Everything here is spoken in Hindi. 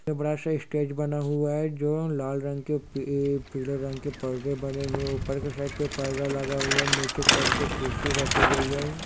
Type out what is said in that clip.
एक बड़ा सा स्टेज बना हुआ है जो लाल रंग के पि-पीले रंग के परदे बने हुए है ऊपर के साइड पे पर्दा लगा हुआ है नीचे के साइड पे कुर्सी रखी गई है।